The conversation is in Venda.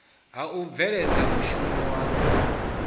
ha u bveledza mushumo u